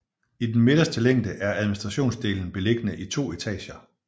I den midterste længe er administrationsdelen beliggende i to etager